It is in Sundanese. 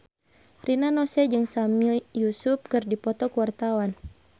Rina Nose jeung Sami Yusuf keur dipoto ku wartawan